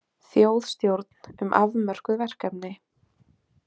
Þjóðstjórn um afmörkuð verkefni